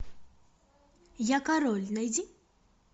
я король найди